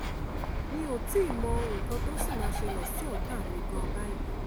mi ò tí ì mọ nǹkan tó ṣì máa ṣẹlẹ̀ sí ọ̀tá mi gan-an báyìí